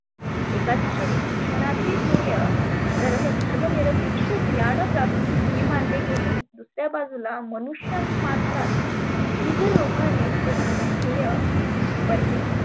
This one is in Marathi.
एका दिशेने शिक्षणाचे ध्येय धर्म धर्म निरपेक्ष ज्ञान प्राप्ती हे मानले गेले. दुसर्या बाजुला मनुष्यमात्रात बिजरोपाने प्रमुख ध्येय बनले.